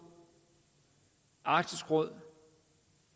arktisk råd